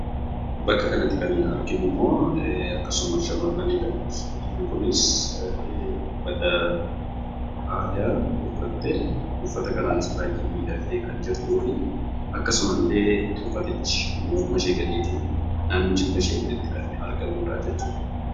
Bakka kanatti kan arginu immoo akkasuma shamarrani dha. Shamarreen kunis uffata aadaa uffattee, uffata kanaanis baay'ee miidhagdee kan jirtuu fi akkasuma illee uffatichi morma ishee gadii fi naannoo jilbashee olitti kan argamuu dhaa jechuu dha.